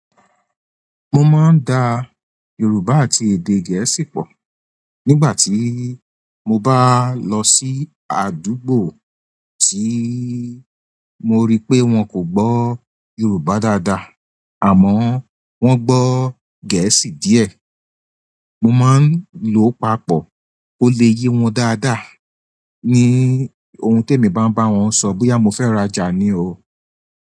Mo máa ń da Yorùbá àti èdè Gẹ̀ẹ́sì pọ̀. Nígbà tí mo bá lọ sí àdúgbò tí mo rí pé wọn kò gbọ́ Yorùbá dáadáa, àmọ́ wọ́n gbọ́ Gẹ̀ẹ́sì díẹ̀, mo máa ń lo papọ̀, ó lè ye wọn dáadáa ní ohun tí èmi bá ń bá wọn sọ bóyá mo fẹ́ rajà ni o.